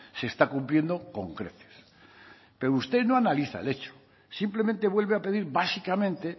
se está cumpliendo con creces pero usted no analiza el hecho simplemente vuelve a pedir básicamente